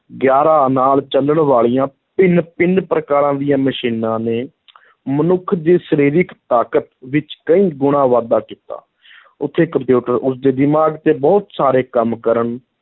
ਗਿਆਰਾਂ ਨਾਲ ਚੱਲਣ ਵਾਲੀਆਂ ਭਿੰਨ-ਭਿੰਨ ਪ੍ਰਕਾਰ ਦੀਆਂ ਮਸ਼ੀਨਾਂ ਨੇ ਮਨੁੱਖ ਦੀ ਸਰੀਰਕ ਤਾਕਤ ਵਿੱਚ ਕਈ ਗੁਣਾ ਵਾਧਾ ਕੀਤਾ ਉੱਥੇ ਕੰਪਿਊਟਰ ਉਸਦੇ ਦਿਮਾਗ਼ ਤੇ ਬਹੁਤ ਸਾਰੇ ਕੰਮ ਕਰਨ